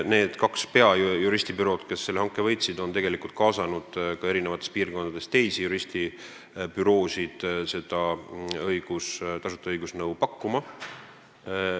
Need kaks peamist juristibürood, kes selle hanke võitsid, on kaasanud eri piirkondadest ka teisi büroosid tasuta õigusnõu pakkuma.